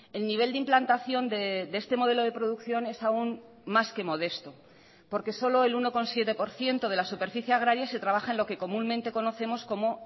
el nivel de implantación de este modelo de producción es aun más que modesto porque solo el uno coma siete por ciento de la superficie agraria se trabaja en lo que comúnmente conocemos como